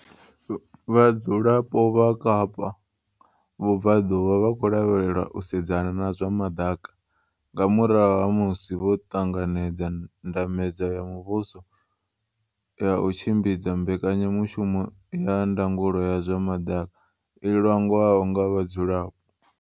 Vhadzulapo vha Kapa Vhubvaḓuvha vha khou lavhelelwa u sedzana na zwa maḓaka nga murahu ha musi vho ṱanga nedza ndambedzo ya muvhu so ya u tshimbidza mbekanya mushumo ya ndangulo ya zwa maḓaka i langwaho nga vha dzulapo.